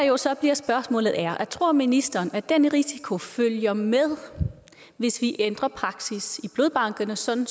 jo så bliver spørgsmålet er tror ministeren at den risiko følger med hvis vi ændrer praksis i blodbankerne sådan